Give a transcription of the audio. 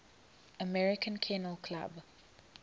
american kennel club